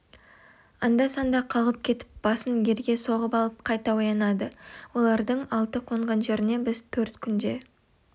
анда-санда қалғып кетіп басын ерге соғып алып қайта оянады олардың алты қонған жеріне біз төрт күнде